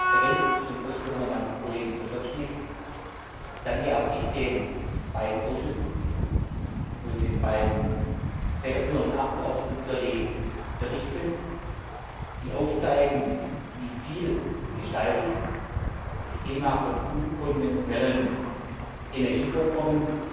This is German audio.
Ergänzend zu den Ausführungen meines Kollegen Potočnik danke auch ich den beiden Ausschüssen und den beiden federführenden Abgeordneten für die Berichte, die aufzeigen, wie vielgestaltig das Thema von unkonventionellen Energievorkommen,